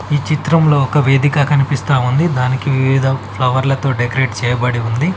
ఈ చిత్రంలో ఒక వేదిక కనిపిస్తా ఉంది దానికి వివిధ ఫ్లవర్లతో డెకరేట్ చేయబడి ఉంది.